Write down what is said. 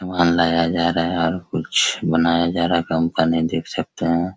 सामान लाया जा रहा है और कुछ बनाया जा रहा है कंपनी देख सकते हैं।